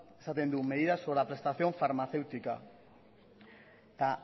esaten du medidas sobre la prestación farmacéutica eta